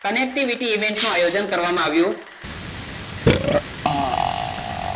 connectivity event નું આયોજન કરવામાં આવ્યું